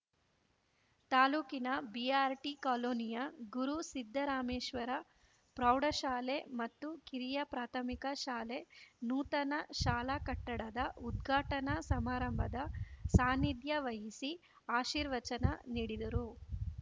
ತಾಲೂಕಿನ ಬಿಆರ್‌ಟಿ ಕಾಲೋನಿಯ ಗುರು ಸಿದ್ದರಾಮೇಶ್ವರ ಪ್ರೌಢಶಾಲೆ ಮತ್ತು ಕಿರಿಯ ಪ್ರಾಥಮಿಕ ಶಾಲೆ ನೂತನ ಶಾಲಾ ಕಟ್ಟಡದ ಉದ್ಘಾಟನಾ ಸಮಾರಂಭದ ಸಾನ್ನಿಧ್ಯ ವಹಿಸಿ ಆಶೀರ್ವಚನ ನೀಡಿದರು